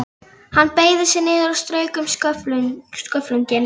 Hann beygði sig niður og strauk um sköflunginn.